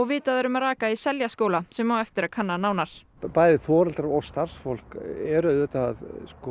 vitað er um raka í Seljaskóla sem á eftir að kanna nánar bæði foreldrar og starfsfólk er auðvitað